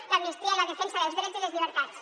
l’amnistia i la defensa dels drets i les llibertats